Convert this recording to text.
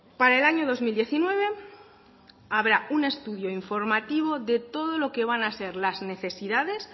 para el año dos mil diecinueve habrá un estudio informativo de todo lo que van a ser las necesidades